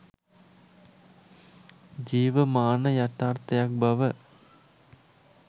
ජීවමාන යථාර්ථයක් බව